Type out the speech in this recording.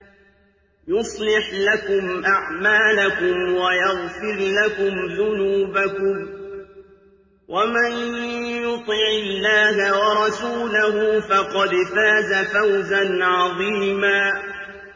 يُصْلِحْ لَكُمْ أَعْمَالَكُمْ وَيَغْفِرْ لَكُمْ ذُنُوبَكُمْ ۗ وَمَن يُطِعِ اللَّهَ وَرَسُولَهُ فَقَدْ فَازَ فَوْزًا عَظِيمًا